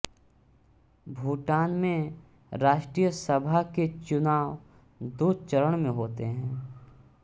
भूटान में राष्ट्रीय सभा के चुनाव दो चरण में होते हैं